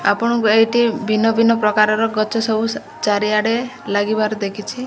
ଆପଣଙ୍କୁ ଏଇଠି ଭିନ୍ନ-ଭିନ୍ନ ପ୍ରକାରର ଗଛ ସବୁ ଚାରିଆଡ଼େ ଲାଗିବାର ଦେଖିଛି।